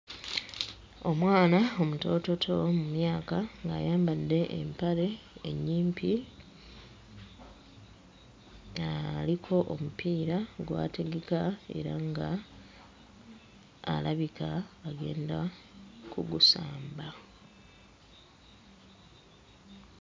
Omwana omutoototo mu myaka ng'ayambadde empale ennyimpi aliko omupiira gw'ategeka era ng'alabika agenda kugusamba.